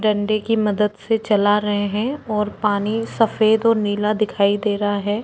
दंडे की मदद से चला रहें हैं और पानी सफेद ओर नीला दीखाई दे रहा है।